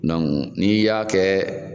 ni y'a kɛ